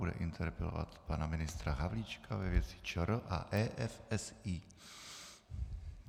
Bude interpelovat pana ministra Havlíčka ve věci ČR a EFSI.